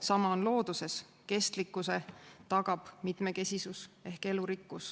Sama on looduses: kestlikkuse tagab mitmekesisus.